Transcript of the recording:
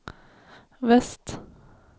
väst